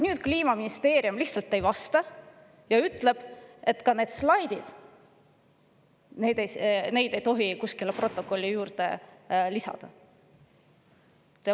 Nüüd Kliimaministeerium lihtsalt ei vasta ja ütleb, et neid slaide ei tohi protokolli juurde lisada.